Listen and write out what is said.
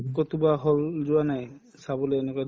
হল যোৱা নাই চাবলৈ এনেকুৱা